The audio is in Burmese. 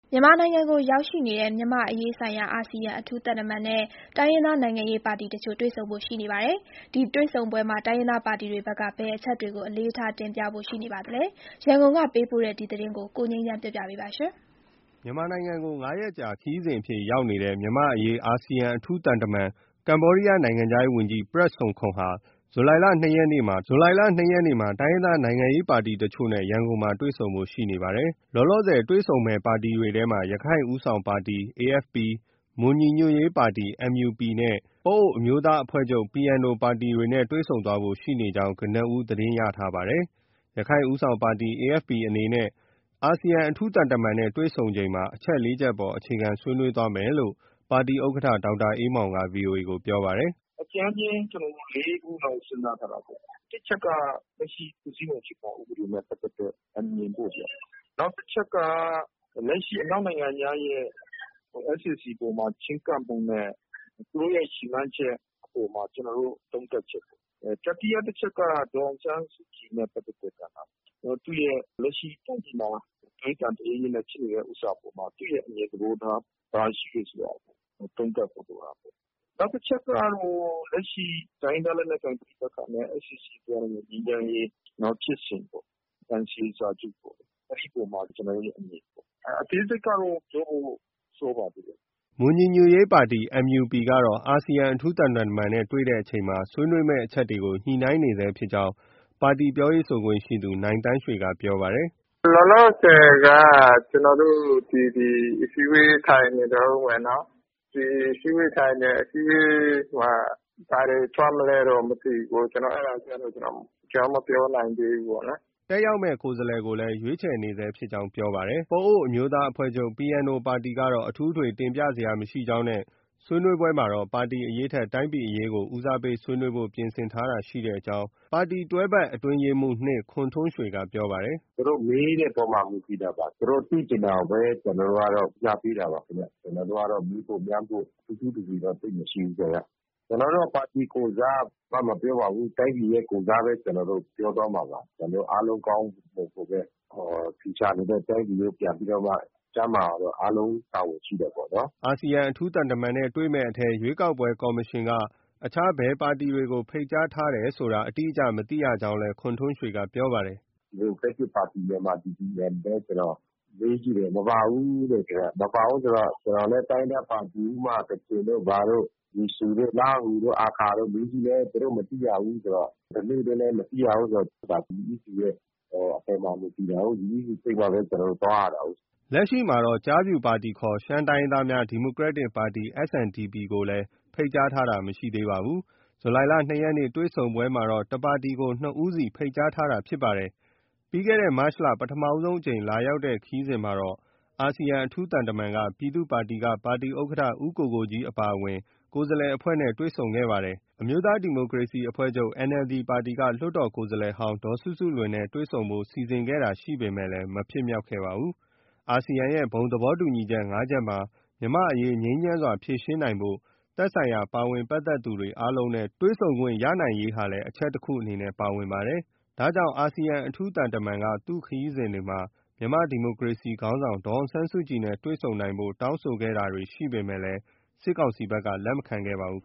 မြန်မာနိုင်ငံကိုရောက်ရှိနေတဲ့ မြန်မာ့အရေးဆိုင်ရာ အာဆီယံ အထူးသံတမန်နဲ့ တိုင်းရင်းသား နိုင်ငံရေးပါတီတချို့နဲ့ တွေ့ဆုံဖို့ရှိနေပါတယ်။ ဒီတွေ့ဆုံပွဲမှာ တိုင်းရင်းသားပါတီတွေဘက်က ဘယ်အချက်တွေကို အလေးထားတင်ပြဖို့ ရှိနေပါသလဲ။ ရန်ကုန်ကပေးပို့တဲ့သတင်းကို ကိုငြိမ်းချမ်းက တင်ပြပေးထားပါတယ်။ လက်ရှိ မြန်မာနိုင်ငံကို ၅ ရက်ကြာ ခရီးစဉ်အဖြစ်ရောက်ရှိနေတဲ့ မြန်မာ့အရေးဆိုင် ရာ အာဆီယံအထူးသံတမန် ကမ္ဘောဒီးယား နိုင်ငံခြားရေးဝန်ကြီး Prak Sokhonn ဟာ ဇူလိုင်လ ၂ ရက်နေ့မှာ တိုင်းရင်းသားနိုင်ငံရေးပါတီတချို့နဲ့ ရန်ကုန်မြို့မှာ တွေ့ဆုံဖို့ ရှိနေပါတယ်။ လောလောဆယ်တွေ့ဆုံမယ့် ပါတီတွေထဲမှာ ရခိုင့်ဦးဆောင်ပါတီ AFP ၊ မွန်ညီညွတ်ရေးပါတီ MUP နဲ့ ပအိုဝ်းအမျိုးသားအဖွဲ့ချုပ် PNO ပါတီတွေနဲ့ တွေ့ဆုံသွားဖို့ ရှိနေကြောင်း ကနဦး သတင်းရရှိထားပါတယ်။ ရခိုင့်ဦးဆောင်ပါတီ AFP အနေနဲ့ အာဆီယံ အထူးသံတမန်နဲ့တွေ့ဆုံတဲ့အချိန်မှာ အချက် ၄ ချက်ပေါ် အခြေခံ ဆွေးနွေးသွားမယ်လို့ ပါတီ ဥက္ကဋ္ဌ ဒေါက်တာအေးမောင်က VOA ကို ပြောပါတယ်။ “အကြမ်းဖျဉ်း ကျနော်တို့ ၄ ခုလောက် စဉ်းစားထားတာပေါ့။ တစ် အချက်က လက်ရှိ ဖွဲ့စည်းပုံအခြေခံ ဥပဒေနဲ့ပတ်သက်တဲ့အမြင်ပေါ့ဗျာ။ နောက်တချက်က လက်ရှိအနောက်နိုင်ငံများရဲ့ SAC အပေါ်မှာ ချဉ်းကပ်ပုံနဲ့ သူတို့ရဲ့ရည်မှန်းချက် အပေါ်မှာ ကျနော်တို့ သုံးသပ်ချက်ပေ့ါ။ တတိယအချက်က ဒေါ်အောင်ဆန်းစုကြည်နဲ့ပတ်သက်တဲ့ကဏ္ဍပေါ့။ လက်ရှိ တိုင်းပြည်မှာ သွေးသံတရဲရဲနဲ့ ဖြစ်နေတဲ့ဟာအပေါ်မှာ သူ့ရဲ့အမြင်သဘောထား ဘာရှိတယ်ဆိုတာကို သုံးသပ်ဖို့ လိုတာပေါ့။ နောက်တချက်ကတော့ လက်ရှိ တိုင်းရင်းသားလက်နက်ကိုင်ပဋိပက္ခနဲ့ SAC သွားနေတဲ့ ငြိမ်းချမ်းရေး ဖြစ်စဉ်ပေါ့။ NCA စာချုပ်ပေ့ါ။ အဲဒီအပေါ်မှာ ကျနော်တို့ရဲ့ အမြင်ပေါ့။ အသေးစိတ်ကတော့ ပြောဖို့ စောပါသေးတယ်။” မွန်ညီညွတ်ရေးပါတီ MUP ကတော့ အာဆီယံအထူးသံတမန်နဲ့တွေ့ဆုံချိန် ဆွေးနွေးမယ့်အချက်တွေကို ညှိနှိုင်းနေဆဲဖြစ်ကြောင်း ပါတီပြောရေးဆိုခွင့်ရှိသူ နိုင်သန်းရွှေက ပြောပါတယ်။ “လောလောဆယ်က ကျနော်တို့ ဒီ အစည်းအဝေးထိုင်နေတုန်းပဲနော်။ အစည်းအဝေးထိုင်တယ်။ အစည်းအဝေးမှာ ဘာတွေ ထွက်မလဲတော့ မသိဘူး။ အဲဒါကျတော့ ကျနော် မပြောနိုင်သေးဘူး ပေါ့နော်။” တက်ရောက်မယ့် ကိုယ်စားလှယ်ကိုလည်း ရွေးခြယ်နေဆဲဖြစ်ကြောင်း ပြောပါတယ်။ ပအိုဝ်းအမျိုးသားအဖွဲ့ချုပ် PNO ပါတီကတော့ အထွေအထူးတင်ပြစရာမရှိကြောင်းနဲ့ ဆွေးနွေးပွဲမှာ တော့ ပါတီအရေးထက် တိုင်းပြည်အရေးကို ဦးစားပေး ဆွေးနွေးဖို့ ပြင်ဆင်ထားတာရှိကြောင်း ပါတီတွဲဘက်အတွင်းရေးမှူး ၂ ခွန်ထွန်းရွှေက ပြောပါတယ်။ “သူတို့မေးတဲ့အပေါ် မူတည်တာပါ။ သူတို့ မေးတဲ့အပေါ် ကျနော်တို့က ဦးစားပေးတာပါခင်ဗျ။ ကျနော်တို့ကတော့ မေးဖို့၊မြန်းဖို့ ထူးထူးထွေထွေသိပ်မရှိဘူးခင်ဗျ။ ကျနော်တို့က ပါတီကိုယ်စား မပြောပါဘူး။ တိုင်းပြည်ရဲ့ ကိုယ်စားပဲပြောသွားမှာပါ။ ကျနော်တို့အားလုံး ကောင်းဖို့၊ လုပ်ဖို့ပဲ။ ချူချာနေတဲ့ တိုင်းပြည်ကို ပြန်ပြီးတော့မှ ကျန်းမာအောင်လို့ အားလုံး တာဝန်ရှိတယ်ပေါ့နော်။” အာဆီယံအထူးသံတမန်နဲ့ တွေ့ဆုံမယ့်အထဲမှာ ရွေးကောက်ပွဲကော်မရှင်က အခြားဘယ်ပါတီတွေကို ဖိတ်ကြားထားတယ်ဆိုတာ အတိအကျ မသိရကြောင်းလည်း ခွန်ထွန်းရွှေက ပြောပါတယ်။ “ ဒီမိုကရက်တစ်ပါတီ-မြန်မာပြည် DPM လည်း ကျနော်မေးကြည့်တယ်။ မပါဘူးတဲ့။ မပါဘူးဆိုတော့ ကျနော်လည်း တိုင်းရင်းသားပါတီ ဥပမာ ကချင်တို့ဘာတို့။ လီဆူတို့၊ လားဟူတို့၊ အာခါတို့ မေးကြည့်လည်း သူတို့ မသိရဘူးဆိုတော့၊ ဓနုတွေလည်း မသိရဘူးဆိုတော့ ဒါ UEC ရဲ့ အပေါ်မှာ မူတည်တာကို။ UEC ဖိတ်မှပဲ ကျနော်တို့ သွားရတာကိုး။ ” ကျားဖြူပါတီခေါ် ရှမ်းတိုင်းရင်းသားများ ဒီမိုကရက်တစ်ပါတီ SNDP ကိုလည်း ဖိတ်ကြားတာ မရှိပါဘူး။ ဇူလိုင်လ ၂ ရက်နေ့ တွေ့ဆုံပွဲမှာတော့ တပါတီကို နှစ်ဦးစီ ဖိတ်ကြားထားတာဖြစ်ပါတယ်။ ပြီးခဲ့တဲ့ မတ်လက ပထမဆုံးအကြိမ်လာရောက်တဲ့ခရီးစဉ်မှာတော့ အာဆီယံ အထူးသံတမန်ဟာ ပြည်သူ့ပါတီက ပါတီဥက္ကဋ္ဌ ဦးကိုကိုကြီးအပါအဝင် ကိုယ်စားလှယ်အဖွဲ့နဲ့ တွေ့ဆုံခဲ့ပါတယ်။ အမျိုးသား ဒီမိုကရေစီအဖွဲ့ NLD ပါတီက လွှတ်တော်ကိုယ်စားလှယ်ဟောင်း ဒေါ်စုစုလွင်နဲ့ တွေ့ဆုံဖို့ စီစဉ်တာ ရှိခဲ့ပေမယ့် မဖြစ်မြောက်ခဲ့ပါဘူး။ အာဆီယံရဲ့ ဘုံသဘောတူညီချက် ၅ ချက်မှာ မြန်မာ့အရေးငြိမ်းချမ်းစွာ ဖြေရှင်းနိုင်ဖို့ သက်ဆိုင်ရာ ပါဝင်ပတ်သက်သူတွေအားလုံးနဲ့တွေ့ဆုံခွင့်ရနိုင်ရေးလည်း အချက် တချက်အနေနဲ့ ပါဝင်ပါတယ်။ ဒါကြောင့် အာဆီယံ အထူးသံတမန်က သူ့ခရီးစဉ်တွေမှာ မြန်မာ့ဒီမိုကရေစီခေါင်း ဆောင် ဒေါ်အောင်ဆန်းစုကြည်နဲ့ တွေ့ဆုံနိုင်ဖို့ တောင်းဆိုတာတွေ ရှိခဲ့ပေမယ့် စစ်ကောင်စီဘက်က လက်မခံခဲ့ပါဘူး